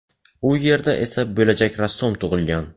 U yerda esa bo‘lajak rassom tug‘ilgan.